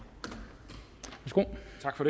har